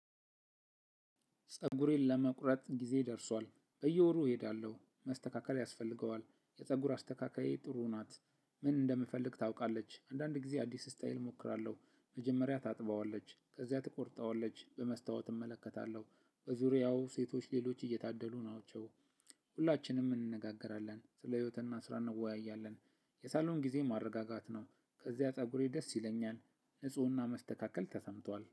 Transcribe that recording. ፀጉሬን ለምቁረጥ ጊዜ ደርሷል በየወሩ እሄዳለሁ መስተካከል ያስፈልገዋል የፀጉር አስተካካዬ ጥሩ ናት። ምን እንደምፈልግ ታውቃለች አንዳንድ ጊዜ አዲስ እስታይል እሞክራለሁ። መጀመሪያ ታጥበዋለች ከዛ ትቆርጠዋለች በመስታውትእመለከታለሁ በዙሪያው ሴቶች ሌሎች እየታደሉ ናቸው። ሁላችንም እንነጋገራለን ስለ ህይወትና ስራ እንወያያለን። የሳሎን ጊዜ ማረጋጋት ነው። ከዚያ ፀጉሬ ደስ ይለኛል ንፁህና መስተካከል ተሰምቷል